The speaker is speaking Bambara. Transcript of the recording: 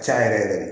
Can yɛrɛ yɛrɛ de